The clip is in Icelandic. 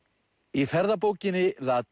í ferðabókinn la